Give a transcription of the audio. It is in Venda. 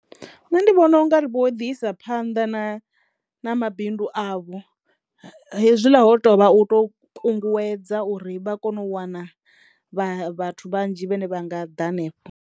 Nṋe ndi vhona u nga ri vho ḓi isa phanḓa na na mabindu avho hezwiḽa ho tovha u to kunguwedza uri vha kono u wana vha vhathu vhanzhi vhene vha nga ḓa hanefho.